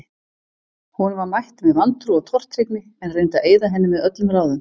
Honum var mætt með vantrú og tortryggni, en reyndi að eyða henni með öllum ráðum.